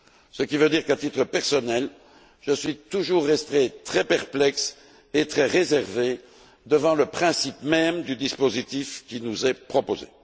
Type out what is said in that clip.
Cela veut dire qu'à titre personnel, je suis toujours resté très perplexe et très réservé devant le principe même du dispositif qui nous est proposé.